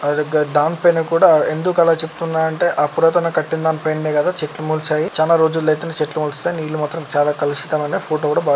దాని పైన కూడా ఎందుకలా చెప్తున్నా అంటే ఆ పురాతన కట్టిన్ దానిపైన్నే చెట్లు మొల్చాయి. చానా రోజులయితేనే చెట్లు మొలుస్తాయి. నీళ్ళు మాత్రం చాలా కలుషితం ఐనయ్. ఫొటో కూడా --బా--